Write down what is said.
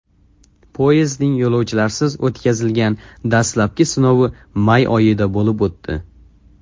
Poyezdning yo‘lovchilarsiz o‘tkazilgan dastlabki sinovi may oyida bo‘lib o‘tdi.